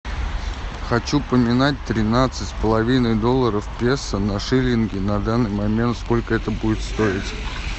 хочу поменять тринадцать с половиной долларов песо на шиллинги на данный момент сколько это будет стоить